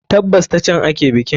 Tabbas, ta can ake bikin.